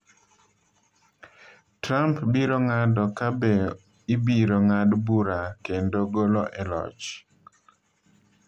Trump, biro ng’ado ka be ibiro ng’ad bura kendo golo e loch.